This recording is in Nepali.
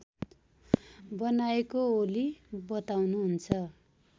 बनाएको ओली बताउनुहुन्छ